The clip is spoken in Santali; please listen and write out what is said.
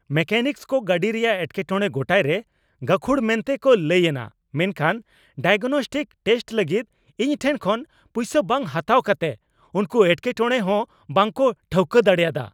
ᱢᱮᱠᱮᱱᱤᱠᱥ ᱠᱚ ᱜᱟᱹᱰᱤ ᱨᱮᱭᱟᱜ ᱮᱴᱠᱮᱴᱚᱲᱮ ᱜᱚᱴᱟᱭᱨᱮ ᱜᱟᱹᱠᱷᱩᱲ ᱢᱮᱱᱛᱮ ᱠᱚ ᱞᱟᱹᱭ ᱮᱱᱟ ᱢᱮᱱᱠᱷᱟᱱ ᱰᱟᱭᱟᱜᱚᱱᱚᱥᱴᱤᱠ ᱴᱮᱥᱴ ᱞᱟᱹᱜᱤᱫ ᱤᱧᱴᱷᱮᱱ ᱠᱷᱚᱱ ᱯᱩᱭᱥᱟᱹ ᱵᱟᱝ ᱦᱟᱛᱟᱣ ᱠᱟᱛᱮᱜ ᱩᱱᱠᱩ ᱮᱴᱠᱮᱴᱚᱲᱮ ᱦᱚᱸ ᱵᱟᱝᱠᱚ ᱴᱷᱟᱹᱣᱠᱟᱹ ᱫᱟᱲᱮ ᱟᱫᱟ ?